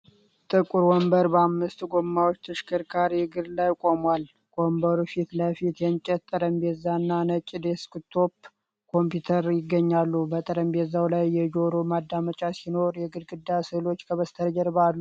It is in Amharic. ጥቁር ወንበር በአምስት ጎማዎች ተሽከርካሪ እግር ላይ ቆሟል። ከወንበሩ ፊት ለፊት የእንጨት ጠረጴዛና ነጭ ዴስክቶፕ ኮምፒውተር ይገኛሉ። በጠረጴዛው ላይ የጆሮ ማዳመጫ ሲኖሩ፣ የግድግዳ ስእሎች ከበስተጀርባ አሉ።